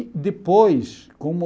E depois, como...